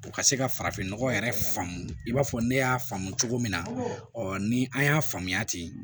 U ka se ka farafinnɔgɔ yɛrɛ faamu i b'a fɔ ne y'a faamu cogo min na ni an y'a faamuya ten